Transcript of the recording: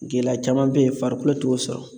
Gɛlɛya caman bɛ yen farikolo t'o sɔrɔ